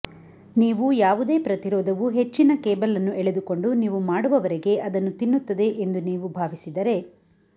ನೀವು ಯಾವುದೇ ಪ್ರತಿರೋಧವು ಹೆಚ್ಚಿನ ಕೇಬಲ್ ಅನ್ನು ಎಳೆದುಕೊಂಡು ನೀವು ಮಾಡುವವರೆಗೆ ಅದನ್ನು ತಿನ್ನುತ್ತದೆ ಎಂದು ನೀವು ಭಾವಿಸಿದರೆ